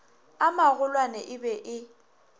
a magolwane e be e